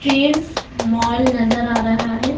Trends mall नजर आ रहा है।